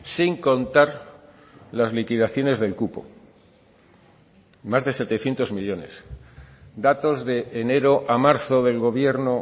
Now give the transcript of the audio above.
sin contar las liquidaciones del cupo más de setecientos millónes datos de enero a marzo del gobierno